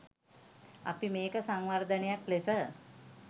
අපි මේක සංවර්ධනයක් ලෙස